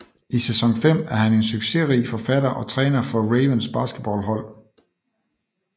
I sæson 5 er han en succesrig forfatter og træner for Ravens basketball hold